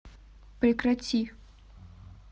прекрати